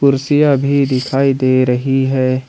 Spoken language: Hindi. कुर्सियां भी दिखाई दे रही है।